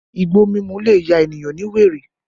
Igbo mímú le ya ènìyàn ní wèrè